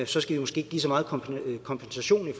så skal vi måske ikke give så meget kompensation